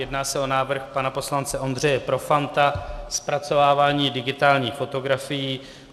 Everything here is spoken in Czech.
Jedná se o návrh pana poslance Ondřeje Profanta, zpracovávání digitálních fotografií.